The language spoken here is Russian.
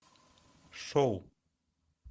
шоу